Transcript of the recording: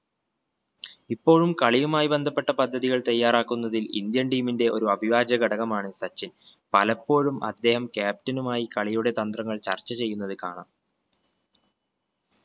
ഇപ്പോഴും കളിയുമായി ബന്ധപ്പെട്ട പദ്ധതികൾ തയ്യാറാക്കുന്നതിൽ indian team ന്റെ ഒരു അഭിവാച്യ ഘടകമാണ് സച്ചിൻ പലപ്പോഴും അദ്ദേഹം captain ഉമായി കളിയുടെ തന്ത്രങ്ങൾ ചർച്ച ചെയ്യുന്നത് കാണാം.